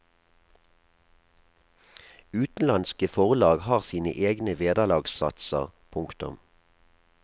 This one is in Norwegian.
Utenlandske forlag har sine egne vederlagssatser. punktum